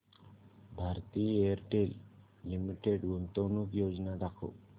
Bharti Airtel limited गुंतवणूक योजना दाखव